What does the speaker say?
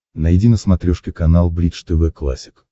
найди на смотрешке канал бридж тв классик